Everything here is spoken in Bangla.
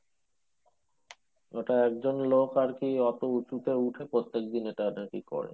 ওটার জন্য আরকি অটো উঁচুতে উঠে প্রত্যেকদিন